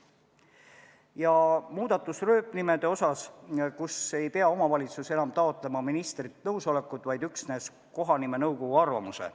Ja on ka muudatus rööpnimede kohta, mille korral ei pea omavalitsus enam taotlema ministrilt nõusolekut, vaid piisab kohanimenõukogu arvamusest.